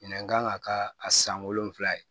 Minɛn kan ka kɛ a san wolonwula ye